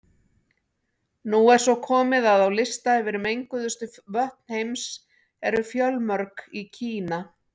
Nú er svo komið að á lista yfir menguðustu vötn heims eru fjölmörg í Kína.